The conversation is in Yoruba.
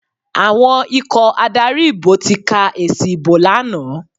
Àwọn ikọ̀ adarí ìbò ti ka èsì ìbò lánàá.